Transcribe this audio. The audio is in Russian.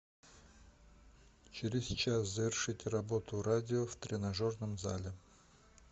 через час завершить работу радио в тренажерном зале